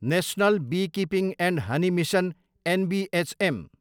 national beekeeping and honey mission, NBHM